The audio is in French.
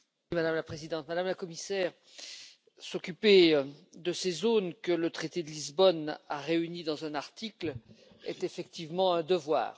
Madame la Présidente, Madame la Commissaire, s'occuper de ces zones, que le traité de Lisbonne a réunies dans un article, est effectivement un devoir.